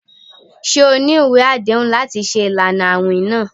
Ṣe o ni iwe adehun lati ṣe ilana awin naa?